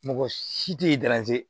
Mɔgɔ si tɛ ye